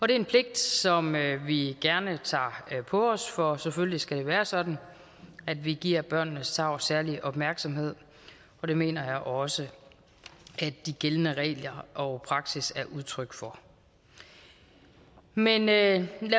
det er en pligt som vi gerne tager på os for selvfølgelig skal det være sådan at vi giver børnenes tarv særlig opmærksomhed og det mener jeg også at de gældende regler og praksis er udtryk for men lad